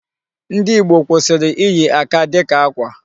Ndị Ìgbo kwụsịrị iyi aka dịka akwa.